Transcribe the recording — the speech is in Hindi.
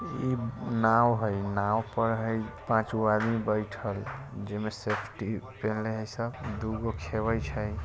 ई नाव है नाव पर हई पाँच गो आदमी बैठल जई में सेफ्टी पिन्हले हई सब दुगो खेवई छै।